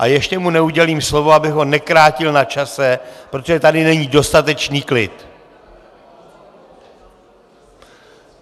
A ještě mu neudělím slovo, abych ho nekrátil na čase, protože tady není dostatečný klid.